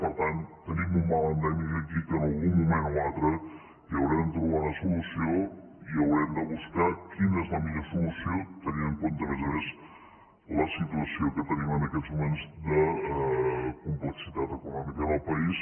per tant tenim un mal endèmic aquí que en algun moment o altre hi haurem de trobar una solució i haurem de buscar quina és la millor solució tenint en compte a més a més la situació que tenim en aquests moments de complexitat econòmica en el país